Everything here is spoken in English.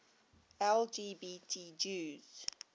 lgbt jews